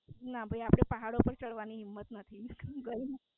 ના ભઇ આપડે પહાડો પર ચડવાની હિમ્મત નથી